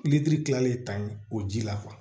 kilalen ta ye o ji la